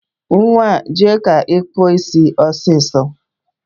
Nwaa, jee ka ị kpụọ isi ọsịsọ